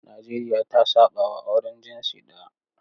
Najeriya ta saɓawa auren jinsi ɗaya.